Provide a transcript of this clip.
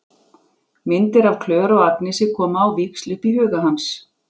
Myndir af Klöru og Agnesi koma á víxl upp í huga hans.